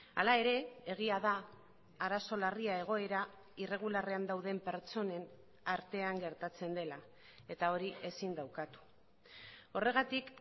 hala ere egia da arazo larria egoera irregularrean dauden pertsonen artean gertatzen dela eta hori ezin da ukatu horregatik